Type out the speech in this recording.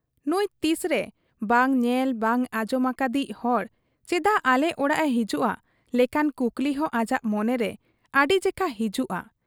ᱱᱩᱸᱭ ᱛᱤᱥᱨᱮ ᱵᱟᱝ ᱧᱮᱞ ᱵᱟᱝ ᱟᱸᱡᱚᱢ ᱟᱠᱟᱫᱤᱡ ᱦᱚᱲ ᱪᱟᱫᱟᱜ ᱟᱞᱮ ᱚᱲᱟᱜ ᱮ ᱦᱤᱡᱩᱜ ᱟ ᱞᱮᱠᱟᱱ ᱠᱩᱠᱞᱤᱦᱚᱸ ᱟᱡᱟᱜ ᱢᱚᱱᱮᱨᱮ ᱟᱹᱰᱤ ᱡᱮᱠᱷᱟ ᱦᱤᱡᱩᱜ ᱟ ᱾